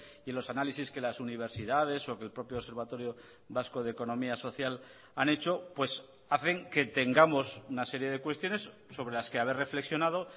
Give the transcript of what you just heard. y los análisis que las universidades o que el propio observatorio vasco de economía social han hecho pues hacen que tengamos una serie de cuestiones sobre las que haber reflexionado